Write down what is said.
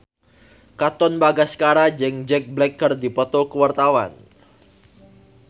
Katon Bagaskara jeung Jack Black keur dipoto ku wartawan